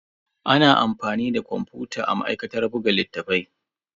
Ana amfani da kwamfuta a ma'aikatar buga littattafai.